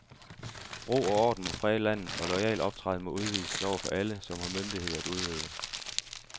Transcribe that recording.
Ro og orden må præge landet, og loyal optræden må udvises over for alle, som har myndighed at udøve.